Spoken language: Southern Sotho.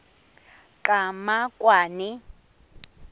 qhamakwane